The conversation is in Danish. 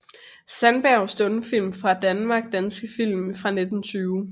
Sandberg Stumfilm fra Danmark Danske film fra 1920